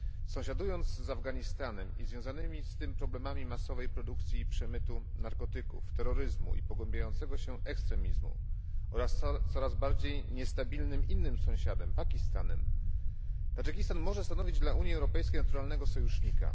Sąsiadując z Afganistanem i związanymi z tym problemami masowej produkcji i przemytu narkotyków, terroryzmu i pogłębiającego się ekstremizmu oraz z coraz bardziej niestabilnym innym sąsiadem Pakistanem, Tadżykistan może stanowić dla Unii Europejskiej naturalnego sojusznika.